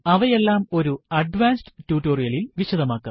അവയെല്ലാം ഒരു അഡ്വാൻസ് ട്യൂട്ടോറിയലിൽ വിശദമാക്കാം